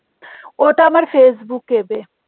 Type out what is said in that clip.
ওটা আমার ফেসবুকে বে